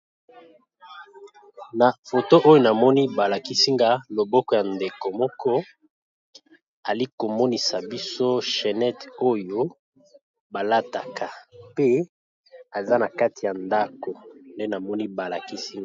Na foto oyo namoni balakisi nga loboko ya ndeko moko ayali ko lakisa biso chenette oyo balataka pe aza nakati ya ndako .